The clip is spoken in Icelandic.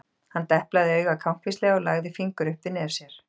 Hann deplaði auga kankvíslega og lagði fingur upp við nef sér.